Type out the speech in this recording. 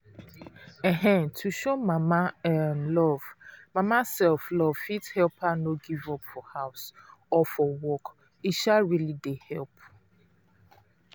um to show mama um love mama um love fit help her no give up for house or for work e um really dey help.